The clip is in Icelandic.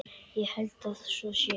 Ég held að svo sé.